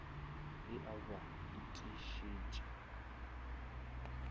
e a b ba itišitše